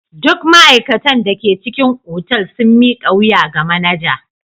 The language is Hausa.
Duk ma'aikatan da ke cikin otal sun mika wuya ga manaja.